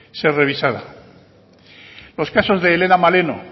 ser revisada los casos de helena maleno